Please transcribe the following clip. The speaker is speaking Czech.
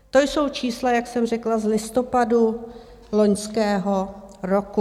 To jsou čísla, jak jsem řekla, z listopadu loňského roku.